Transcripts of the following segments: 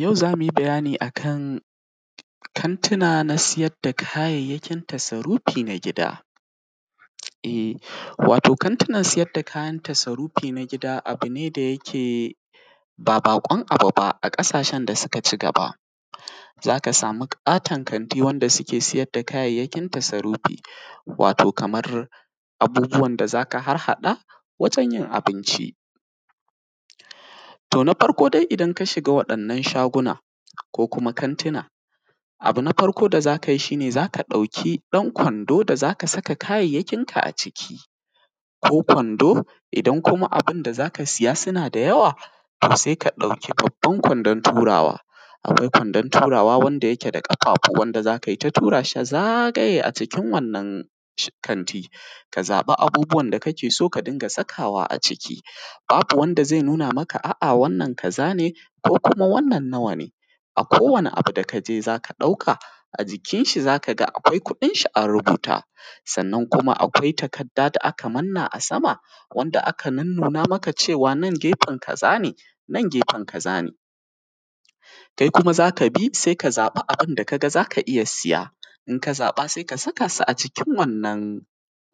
Yau za mu yi bayani a kan kantuna na siyar da kayayyakin tasrufi na gida, wato kantunan sayar da kayan tasrufi na gida abu ne da yake ba baƙon abu ba a ƙasashen da suka ci gaba, za ka samu katon kanti wanda suke sayar da kayayyakin tasrufi, wato kamar abubuwan da za ka harhaɗa wajen yin abinci. To, na farko dai idan ka shiga waɗannan shagunan ko kuma kantunan abu na farko da za ka yi shi ne za ka ɗauki ɗan kwando da za ka saka kayayyakinka a ciki ko kwando, idan kuma abin da za ka siya suna da yawa sai ka ɗauki babban kwandon turawa. Akwai kwandon turawa wanda yake da ƙafafu wanda za ka yi ta tura shi zagaye a cikin wannan kantin, ka zaɓi abubuwan da kake so, ka dinga sakawa a ciki babu wanda zai nuna maka a’a wannan kaza ne ko kuma wannan nawa ne, akowane abu da ka je za ka ɗauka a jikin shi za ka ga akwai kuɗin shi an rubuta. Sannan kuma akwai takarda da aka manna a sama wanda aka nunnuna maka cewa nan gefen kaza ne, nan gefen kaza ne, kai kuma za ka bi sai ka zaɓa abin da ka ga za ka iya siya, in ka zaɓa sai ka saka su a cikin wannan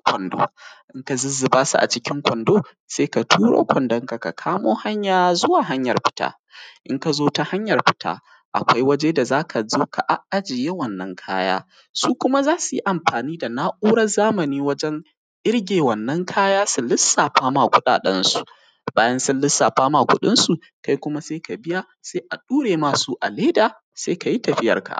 kwandon, in ka zuzzuba su a cikin kwandon sai ka turo kwandon ka, ka kamo hanya zuwa hanyar fita in ka zo ta hanyar fita, akwai waje da za ka zo ka a jiye wannan kaya, su kuma za su yi amfani da na’urar zamani wajen ƙirge wanna kaya su lissafa ma kuɗaɗensu, bayan sun lissafa ma kuɗinsu kai kuma sai ka biya sai a ɗaure ma su a leda sai ka yi tafiyarka.